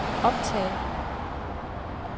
optag